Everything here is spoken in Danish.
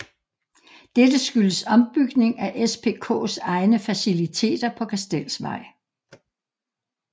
Dette skyldes ombygning af SPKs egne faciliteter på Kastelsvej